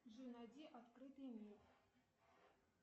джой найди открытый мир